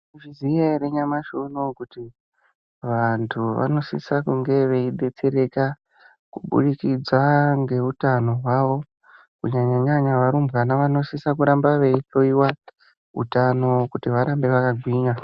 Unozviziva here nyamashi unowu kuti vantu vanosisa kunge veidetsereka kuburikidza ngehutano hwavo kunyanyanyanya varumbwana vanoramba veihloiwa hutano Kuti varambe vakagwinya.